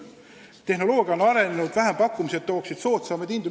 Tehnoloogia on arenenud, vähempakkumised tooksid soodsamaid hindu.